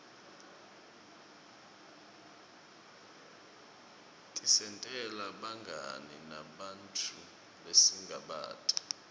tisentela bungani nebanntfu lesingabati